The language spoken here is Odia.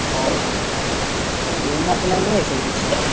ଓହୋ ଲୁନା ଫୁନା, ନେଇଆସିବା କିଛି?